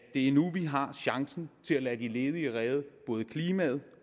det er nu vi har chancen til at lade de ledige redde både klimaet